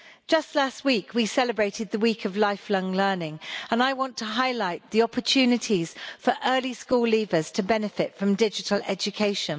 Just last week we celebrated the week of lifelong learning, and I want to highlight the opportunities for early school leavers to benefit from digital education.